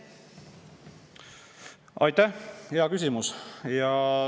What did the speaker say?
Aitäh!